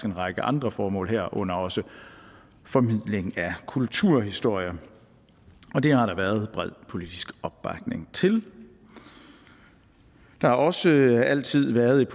en række andre formål herunder også formidling af kulturhistorie og det har der været bred politisk opbakning til der har også altid været et